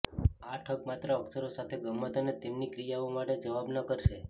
આ ઠગ માત્ર અક્ષરો સાથે ગમ્મત અને તેમની ક્રિયાઓ માટે જવાબ ન કરશે